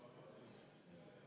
Vabandust!